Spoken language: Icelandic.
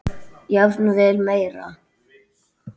Jafnvel meira.